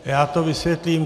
Já to vysvětlím.